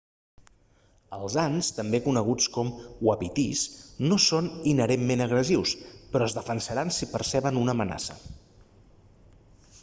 els ants també coneguts com uapitís no són inherentment agressius però es defensaran si perceben una amenaça